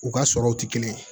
U ka sɔrɔw tɛ kelen ye